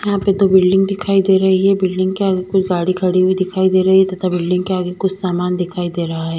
यहां पे दो बिल्डिंग दिखाई दे रही है बिल्डिंग के आगे कुछ गाड़ी खड़ी हुई दिखाई दे रही है तथा बिल्डिंग के आगे कुछ सामान दिखाई दे रहा है।